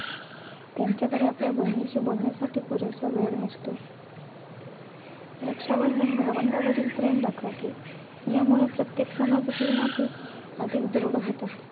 त्यांच्याकडे आपल्या बहिणीशी बोलण्यासाठी पुरेसा वेळ नसतो. रक्षाबंधन भावंडांवरील प्रेम दाखवते. यामुळे, प्रत्येक समाजातील नाती अधिक दृढ होतात.